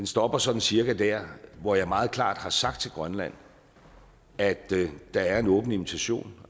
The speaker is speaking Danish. stopper sådan cirka der hvor jeg meget klart har sagt til grønland at der er en åben invitation